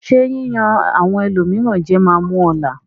Ṣé yíyan àwọn ẹlòmíràn jẹ máa mú ọ là?